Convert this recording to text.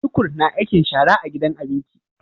tukur na aikin shara a gidan abinki